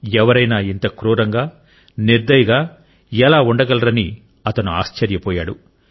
ఎవరైనా ఇంత క్రూరంగా నిర్దయగా ఎలా ఉండగలరని అతను ఆశ్చర్యపోయాడు